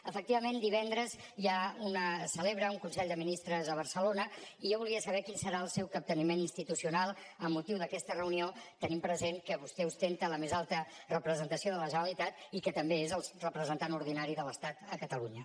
efectivament divendres se celebra un consell de ministres a barcelona i jo volia saber quin serà el seu capteniment institucional amb motiu d’aquesta reunió tenint present que vostè ostenta la més alta representació de la generalitat i que també és el representant ordinari de l’estat a catalunya